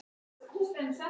Hvað sögðu þau ykkur meira?